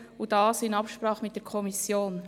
Ich tue dies in Absprache mit der Kommission.